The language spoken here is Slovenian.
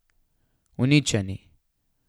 Uničeni!